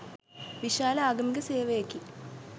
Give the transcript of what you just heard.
විශාල ආගමික සේවයකි.